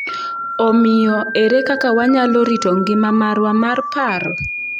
Omiyo, ere kaka wanyalo rito ngima marwa mar paro?